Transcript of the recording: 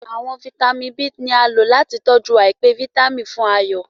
Àwọn vitamin B tí a lò láti tọjú aipe Vitamin fún Ayo.